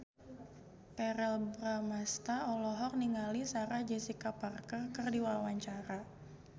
Verrell Bramastra olohok ningali Sarah Jessica Parker keur diwawancara